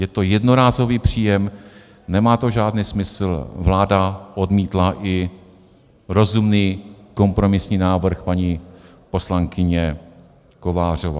Je to jednorázový příjem, nemá to žádný smysl, vláda odmítla i rozumný kompromisní návrh paní poslankyně Kovářové.